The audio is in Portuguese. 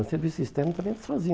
Mas serviço externo também eles faziam.